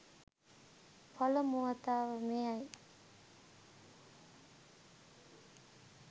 පළමු වතාව මෙයයි